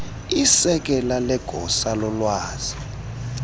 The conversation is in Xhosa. isekela legosa lolwazi